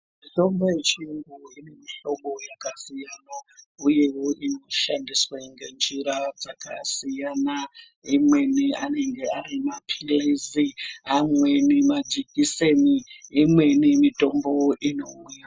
Mitombo yechiyungu ine mihlobo yakasiyana uyewo inoshandiswe ngenjira dzakasiyana. Imweni anenge ari maphilizi, amweni majikiseni, imweni mitombo inouya.